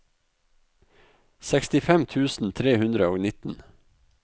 sekstifem tusen tre hundre og nitten